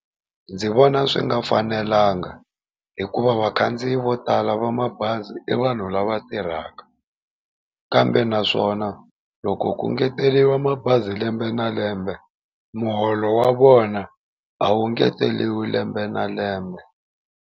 Ndzi vona swi nga fanelanga hikuva vakhandziyi vo tala va mabazi i vanhu lava tirhaka, kambe naswona loko ku ngeteriwa mabazi lembe na lembe muholo wa vona a wu ngeteriwi lembe na lembe.